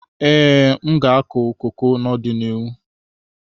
Ee, m ga-akụ koko n'ọdịnihu.